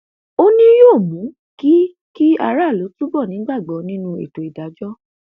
ó ní yóò mú kí kí aráàlú túbọ nígbàgbọ nínú ètò ìdájọ